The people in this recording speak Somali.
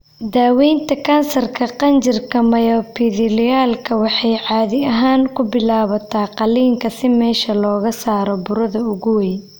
Daawaynta kansarka qanjirka myoepithelialka waxay caadi ahaan ku bilaabataa qaliin si meesha looga saaro burada ugu weyn.